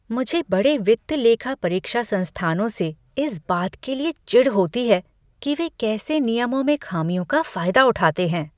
मुझे बड़े वित्त लेखा परीक्षा संस्थानों से इस बात के लिए चिढ़ होती है कि वे कैसे नियमों में खामियों का फायदा उठाते हैं।